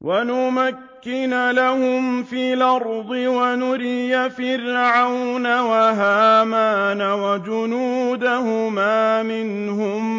وَنُمَكِّنَ لَهُمْ فِي الْأَرْضِ وَنُرِيَ فِرْعَوْنَ وَهَامَانَ وَجُنُودَهُمَا مِنْهُم